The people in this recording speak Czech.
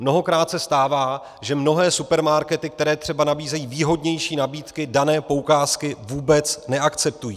Mnohokrát se stává, že mnohé supermarkety, které třeba nabízejí výhodnější nabídky, dané poukázky vůbec neakceptují.